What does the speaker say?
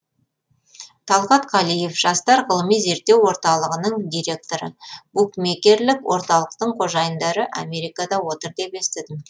талғат қалиев жастар ғылыми зерттеу орталығының директоры букмекерлік орталықтың қожайындары америкада отыр деп естідім